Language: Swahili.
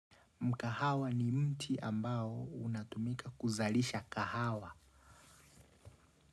Mkahawa ni mti ambao unatumika kuzalisha kahawa.